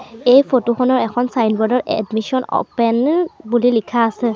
এই ফটো খনত এখন ছাইনব'ৰ্ড ত এডমিশ্বন অ'পেন বুলি লিখা আছে।